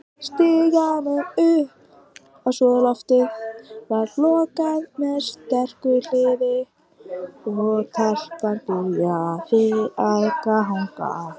Stiganum upp á súðarloftið var lokað með sterku hliði, og- telpan byrjaði að ganga.